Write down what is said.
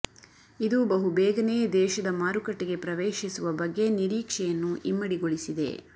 ಇದು ಬಹು ಬೇಗನೇ ದೇಶದ ಮಾರುಕಟ್ಟೆಗೆ ಪ್ರವೇಶಿಸುವ ಬಗ್ಗೆ ನಿರೀಕ್ಷೆಯನ್ನು ಇಮ್ಮಡಿಗೊಳಿಸಿದೆ